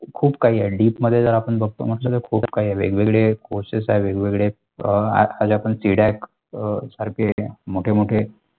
खूप काही आहे deep मध्ये जर आपण बगतो मतलब एक खूप काही वेगवेगळे courses वेगवेगळेअ आज आपण C Deck सारखे मोठे मोठे.